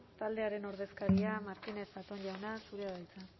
taldearen ordezkaria martínez zatón jauna zurea da hitza